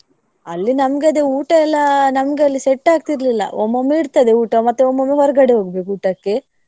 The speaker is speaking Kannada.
ಅಲ್ಲಿ ನನ್ಗದೇ ಊಟ ಎಲ್ಲಾ. ನನ್ಗಲ್ಲಿ set ಆಗ್ತಿರ್ಲಿಲ್ಲ ಒಮ್ಮೊಮ್ಮೆ ಇರ್ತದೆ ಊಟ ಮತ್ತೆ ಒಮ್ಮೊಮ್ಮೆ ಹೊರ್ಗಡೆ ಹೋಗ್ಬೇಕು ಊಟಕ್ಕೆ.